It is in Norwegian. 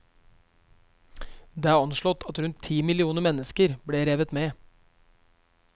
Det er anslått at rundt ti millioner mennesker ble revet med.